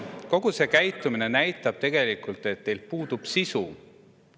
Kogu see käitumine näitab tegelikult, et teil puudub sisu.